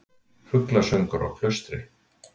Fuglasöngur á Klaustri